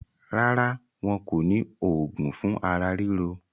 Rárá, wọn kò ní òògùn fún ara ríro.